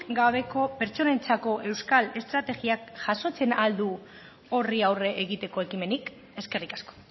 gabeko pertsonentzako euskal estrategiak jasotzen al du horri aurre egiteko ekimenik eskerrik asko